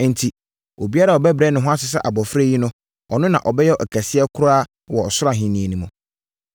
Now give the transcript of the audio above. Enti, obiara a ɔbɛbrɛ ne ho ase sɛ abɔfra yi no, ɔno na ɔbɛyɛ ɔkɛseɛ koraa Ɔsoro Ahennie mu.